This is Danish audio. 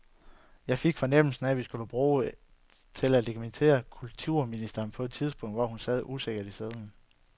Jeg fik fornemmelsen af, at vi skulle bruges til at legitimere kulturministeren på et tidspunkt, hvor hun sad usikkert i sadlen.